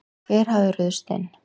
Hver hafði ruðst inn?